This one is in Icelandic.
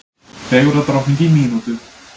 Fegurðardrottning í mínútu